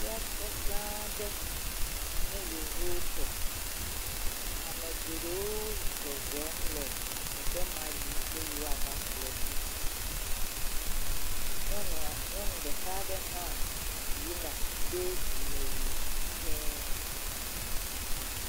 Fiase gã aɖe sin ye yevuwo tɔ. Ame geɖewo zɔzɔm le teƒe ma yim be yewoava ƒle nu. Nyɔnu ɖeka hã yina do dzimewui dzee.